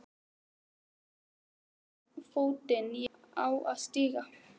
Veit varla í hvorn fótinn ég á að stíga.